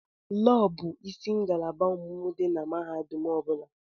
Lọọ bụ isi ngalaba ọmụmụ dị na mahadum ọ bụla.